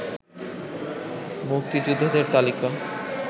মুক্তিযোদ্ধাদের তালিকা